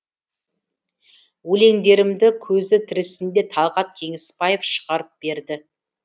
өлеңдерімді көзі тірісінде талғат кеңесбаев шығарып берді